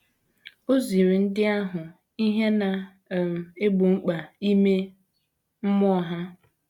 Ọ ziri ndị ahụ ihe, na - um egbo mkpa ime mmụọ ha.